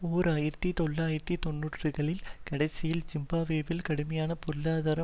ஓர் ஆயிரத்தி தொள்ளாயிரத்து தொன்னூறுகளின் கடைசியில் ஜிம்பாப்வேயில் கடுமையான பொருளாதார